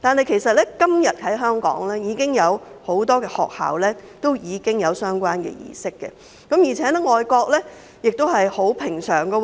其實，今天香港已經有很多學校進行相關的儀式，而且這在外國亦是平常事。